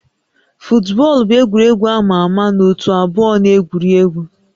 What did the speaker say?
Futbọọlụ bụ egwuregwu a ma ama na ótú abụọ na-egwuri egwu